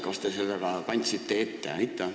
Kas te seda ka kandsite ette?